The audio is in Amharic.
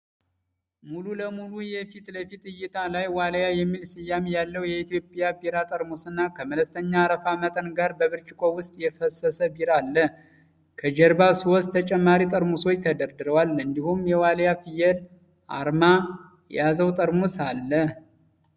ሙሉ ለሙሉ የፊትለፊት እይታ ላይ፣ 'ዋልያ' የሚል ስያሜ ያለው የኢትዮጵያ ቢራ ጠርሙስና ከመለስተኛ የአረፋ መጠን ጋር በብርጭቆ ውስጥ የፈሰሰ ቢራ አለ። ከጀርባ ሶስት ተጨማሪ ጠርሙሶች ተደርድረዋል፤ እንዲሁም የዋልያ ፍየል አርማ የያዘው ጠርሙስ አለ